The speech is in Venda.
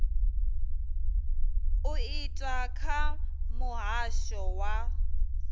u itwa kha muhasho wa